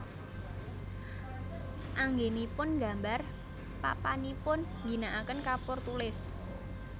Anggénipun nggambar papanipun ngginakaken kapur tulis